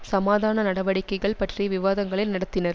சமாதான நடவடிக்கைகள் பற்றிய விவாதங்களை நடத்தினர்